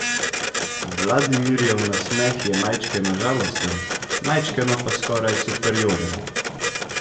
Vladimirjev nasmeh je majčkeno žalosten, majčkeno pa skoraj superioren.